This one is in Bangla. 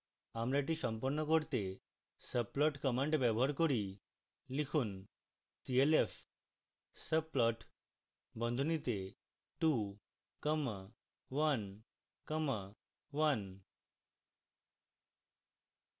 আমরা এটি সম্পন্ন করতে subplot command ব্যবহার করি